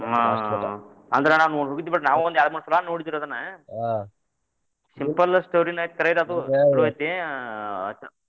ಆ ಅಂದ್ರ ನಾ ಹೋಗಿದ್ದು ಬಿಡ್ರಿ ನಾವು ಒಂದ ಎರಡ್ಮೂರ್ ಸಲಾ ನೋಡಿದುರಿ ಅದನ್ನ simple story ನ ಐತಿನ ಕರೆ ಅದು .